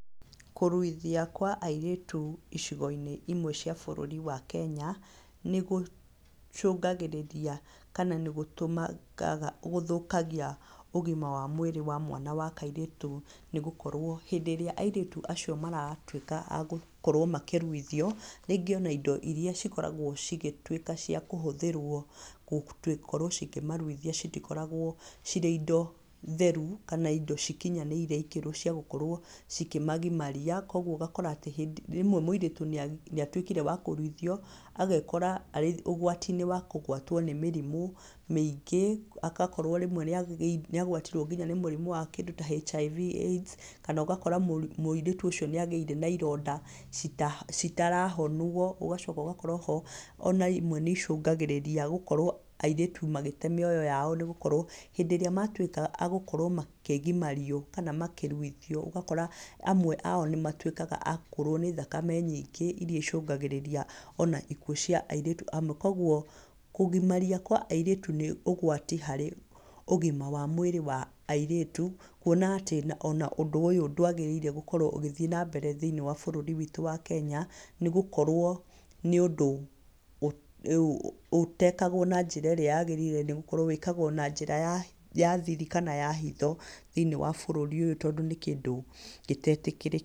Kũruithia kwa airĩtu icigo-inĩ imwe cia bũrũri wa Kenya nĩ gũcungagĩrĩria, kana nĩ gũtũmaga, gũthũkagia ũgima wa mwĩrĩ wa mwana wa kairĩtu. Nĩ gũkorwo hindĩ ĩrĩa airĩtu acio maratuĩka a gũkorwo makĩruithio, rĩngĩ ona indo irĩa cikoragwo cigĩtuĩka cia kũhũthĩrwo gũkorwo cikĩmaruithia citikoragwo cirĩ indo theru, kana indo cikinyanĩire ikĩro cia gũkorwo ci kĩmagimaria. Koguo ũgakora atĩ rĩmwe mũirĩtu nĩ atuĩkire wa kũruithio, agekora arĩ ũgwati-inĩ wa kũgwatwo nĩ mĩrimũ mĩingĩ, agakorwo rĩmwe nĩ agwatirwo nginya nĩ mũrimũ wa kĩndũ ta HIV/AIDS, kana ũgakora mũirĩtu ũcio nĩ agĩire na ironda citarahonwo. Ũgacoka ũgakora oho ona imwe nĩ icungagĩrĩria gũkorwo airĩtu magĩte mĩoyo yao, nĩ gũkorwo hindĩ irĩa matuĩka a gũkorwo makigimario, kana makĩruithio, ũgakora amwe ao nĩ matuĩkaga a kũrwo nĩ thakame nyingĩ iria icungagĩrĩria ona ikuũ cia airĩtu amwe. Koguo kũgimaria kwa airĩtu nĩ ũgwati harĩ ũgima wa mwĩrĩ wa airĩtu, kuona atĩ ona ũndũ ũyũ ndwagĩrĩire gũkorwo ũgĩthiĩ na mbere thĩiniĩ wa bũrũri witũ wa Kenya. Nĩ gũkorwo nĩ ũndũ ũtekagwo na njĩra ĩrĩa yagĩrĩire, nĩ gũkorwo wĩkagwo na njĩra ya thiri, kana ya hitho thĩiniĩ wa bũrũri ũyũ, tondũ nĩ kindũ gĩtetĩkirĩtio.